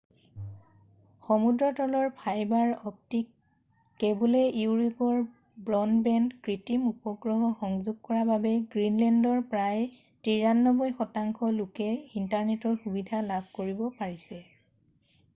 সমুদ্ৰতলৰ fibre optic কেব'লে Europe আৰু broadband কৃত্ৰিম উপগ্ৰহ সংযোগ কৰা বাবে গ্ৰীণলেণ্ডৰ প্ৰায় 93% লোকে ইণ্টাৰনেটৰ সুবিধা লাভ কৰিব পাৰিছে